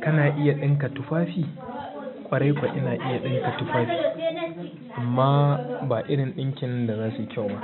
Kana iya ɗinka tufafi? Ƙwarai kuwa ina iya ɗinka tufafi amma ba irin ɗinkin da zasu yi kyau ba